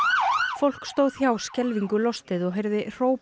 fólk stóð hjá skelfingu lostið og heyrði hróp